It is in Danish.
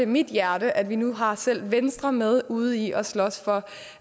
mit hjerte at vi nu har selv venstre med ude i at slås for